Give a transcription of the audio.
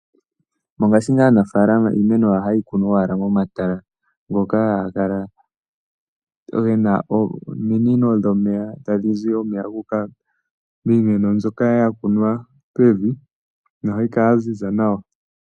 Mongashingeyi aanafalama iimeno yawo oha yeyi kunu owala momatala, ngoka haga kala gena ominino dho meya tadhi zi omeya guuka miimeno nzoka yakunwa pevi nohayi kala yaziza nawa.